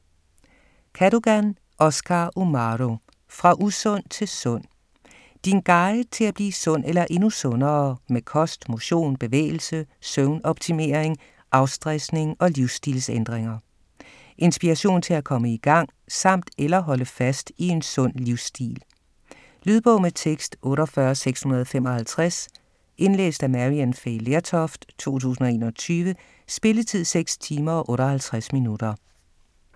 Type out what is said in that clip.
Cadogan, Oscar Umahro: Fra usund til sund: din guide til at blive sund eller endnu sundere med kost, motion, bevægelse, søvnoptimering, afstressning og livsstilsændringer Inspiration til at komme i gang samt eller holde fast i en sund livstil. Lydbog med tekst 48655 Indlæst af Maryann Fay Lertoft, 2021. Spilletid: 6 timer, 58 minutter.